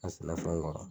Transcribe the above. A sɛnɛfɛnw kɔrɔ